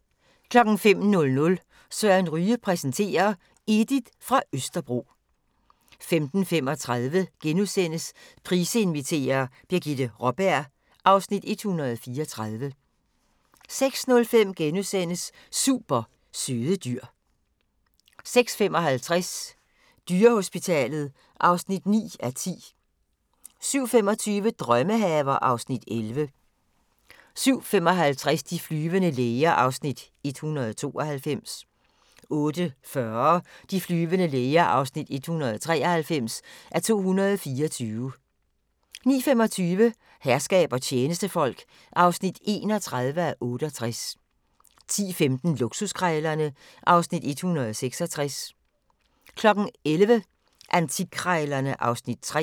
05:00: Søren Ryge præsenterer: Edith fra Østerbro 05:35: Price inviterer – Birgitte Raaberg (Afs. 134)* 06:05: Super søde dyr * 06:55: Dyrehospitalet (9:10) 07:25: Drømmehaver (Afs. 11) 07:55: De flyvende læger (192:224) 08:40: De flyvende læger (193:224) 09:25: Herskab og tjenestefolk (31:68) 10:15: Luksuskrejlerne (Afs. 166) 11:00: Antikkrejlerne (Afs. 3)